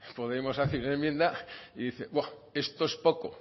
podemos hace una enmienda y dice bua esto es poco